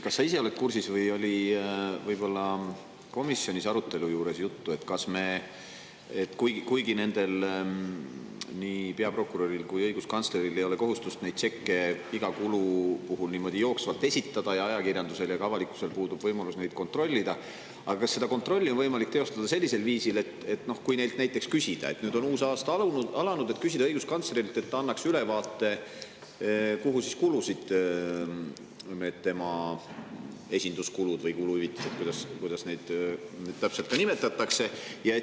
Kas sa oled kursis sellega või oli komisjonis arutelu käigus juttu sellest, et kuigi peaprokuröril ja õiguskantsleril ei ole kohustust tšekke iga kulu puhul niimoodi jooksvalt esitada ja nii ajakirjandusel kui ka avalikkusel puudub võimalus neid kontrollida, siis kas on võimalik seda kontrolli teostada sellisel viisil, et küsida uue aasta alguses näiteks õiguskantslerilt, et ta annaks ülevaate, kuhu kulusid temale esinduskuludeks või kuluhüvitised – või kuidas neid täpselt nimetatakse?